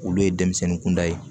Olu ye denmisɛnnin kunda ye